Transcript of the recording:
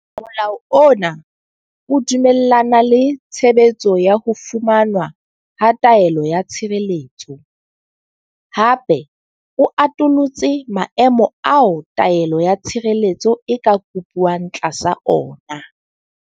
Molao ona o dumellana le tshebetso ya ho fumanwa ha taelo ya tshireletso, hape o atolotse maemo ao taelo ya tshireletso e ka kopuwang tlasa ona.